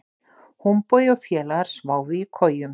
Húnbogi og félagar sváfu í kojum.